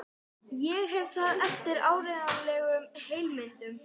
Ég hef það eftir áreiðanlegum heimildum.